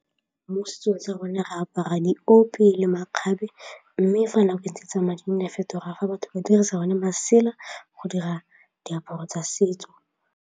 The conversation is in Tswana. Mo setsong tsa rona re apara diope le makgabe mme fa nako e ntse e tsamaya nne a fetoga fa batho ba dirisa masela go dira diaparo tsa setso.